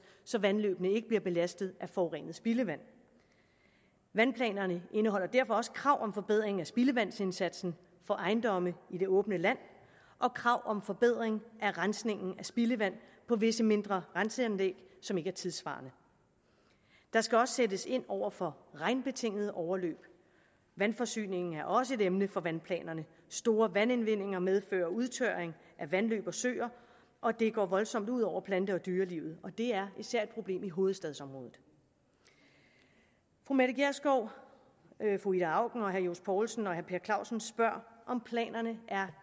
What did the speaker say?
så vandløbene ikke bliver belastet af forurenet spildevand vandplanerne indeholder derfor også krav om forbedring af spildevandsindsatsen for ejendomme i det åbne land og krav om forbedring af rensningen af spildevand på visse mindre renseanlæg som ikke er tidssvarende der skal også sættes ind over for regnbetingede overløb vandforsyningen er også et emne for vandplanerne store vandindvindinger medfører udtørring af vandløb og søer og det går voldsomt ud over plante og dyrelivet det er især et problem i hovedstadsområdet fru mette gjerskov fru ida auken herre johs poulsen og herre per clausen spørger om planerne er